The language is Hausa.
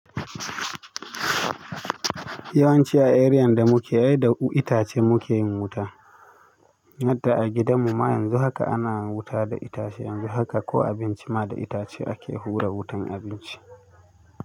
Ya wanci a riyan da muke da ita ci muke yin wuta hatta a gidan mu ma yanzu haka ana wuta da itace, yanzu haka ko abinci ma da itace ake hura wutan abinci.